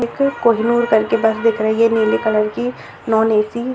एक कोहिनोर टाइप की बस दिख रही है नीले कलर की नॉन ए.सी. |